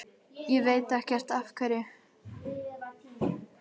Ég veit ekkert af hverju.